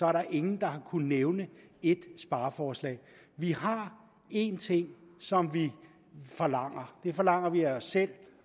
er der ingen der har kunnet nævne ét spareforslag vi har en ting som vi forlanger det forlanger vi af os selv